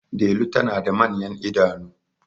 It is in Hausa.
Delu tana da manyan idanu